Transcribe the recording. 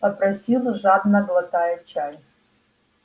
попросил жадно глотая чай